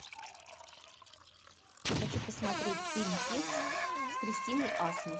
хочу посмотреть фильм текст с кристиной асмус